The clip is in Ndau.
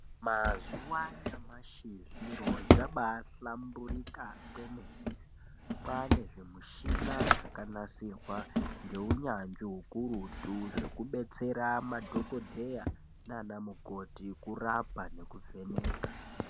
Mazuva anyamashi zviro zvabahlamburika kwemene kwane zvimishina zvakanasirwa ngeunyanzvi hukurutu. Kubetsera madhogodheya nana mukoti kurapa nekuvheneka.